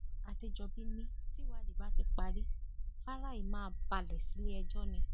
àdẹjọbí ni tìwádìí bá ti parí fáráì máa balẹ síléẹjọ ni